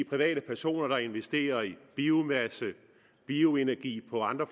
private personer der investerer i biomasse bioenergi og andre